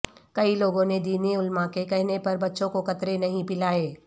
کئی لوگوں نے دینی علماء کے کہنے پر بچوں کو قطرے نہیں پلائے